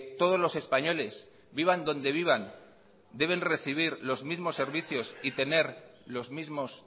todos los españoles vivan donde vivan deben recibir los mismos servicios y tener los mismos